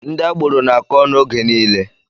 Ndị agboro na-akọ ọnụ oge niile.